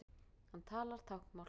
Hann talar táknmál.